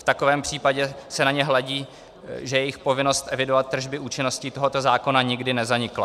V takovém případě se na ně hledí, že jejich povinnost evidovat tržby účinností tohoto zákona nikdy nezanikla."